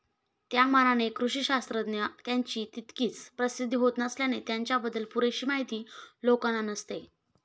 त्यामानाने कृषिशास्त्रज्ञ यांची तितकीशी प्रसिद्धी होत नसल्याने त्यांच्याबद्दल पुरेशी माहिती लोकांना नसते.